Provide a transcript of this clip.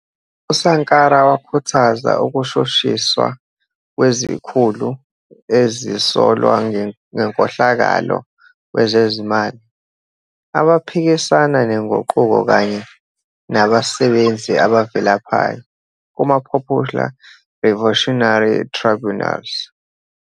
USankara wakhuthaza ukushushiswa kwezikhulu ezisolwa ngenkohlakalo kwezezimali, abaphikisana nenguquko kanye "nabasebenzi abavilaphayo" kuma-Popular Revolutionary Tribunals.